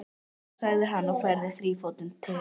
Þetta, sagði hann og færði þrífótinn til.